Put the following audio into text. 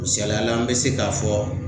Misaliyala n be se k'a fɔ